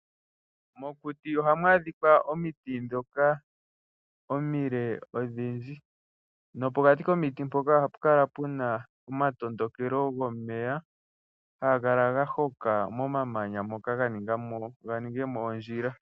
Mokuti ohamu adhikwa omiti dhoka omile odhindji, nopokati komiti dhoka ohapu kala puna omatondokelo gomeya haga kala gahoka momamanya moka, ganinge mo ondjila.